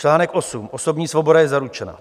Článek 8 - osobní svoboda je zaručena.